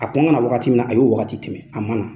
A k'ɔn ka na wagati min na a y'o wagati tɛmɛ, a ma na.